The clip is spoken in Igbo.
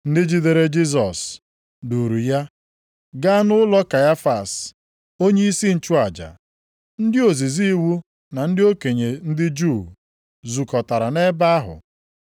Ndị jidere Jisọs duuru ya gaa nʼụlọ Kaịfas, onyeisi nchụaja. Ndị ozizi iwu na ndị okenye ndị Juu zukọtara nʼebe ahụ.